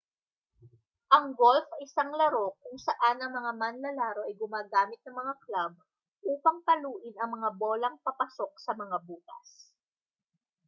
ang golf ay isang laro kung saan ang mga manlalaro ay gumagamit ng mga club upang paluin ang mga bolang papasok sa mga butas